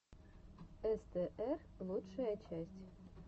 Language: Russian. эстээр лучшая часть